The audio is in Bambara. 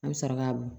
An bɛ sɔrɔ k'a bɔn